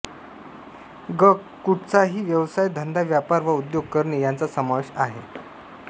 ग कुठचाही व्यवसाय धंदा व्यापार वा उद्योग करणे यांचा समावेश आहे